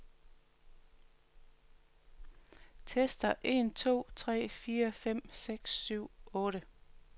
Tester en to tre fire fem seks syv otte.